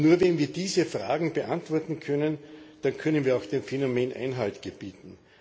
Nur wenn wir diese Fragen beantworten können, dann können wir auch dem Phänomen Einhalt gebieten.